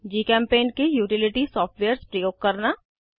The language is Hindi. जीचेम्पेंट के यूटिलिटी सॉफ्टवेयर्स प्रयोग करना